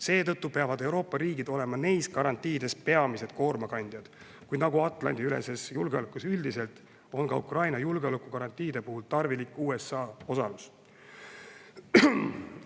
Seetõttu peavad Euroopa riigid olema nende garantiide puhul peamised koormakandjad, kuid nagu Atlandi-üleses julgeolekus üldiselt, on Ukraina julgeolekugarantiide puhul tarvilik ka USA osalus.